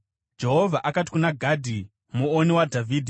Jehovha akati kuna Gadhi muoni waDhavhidhi,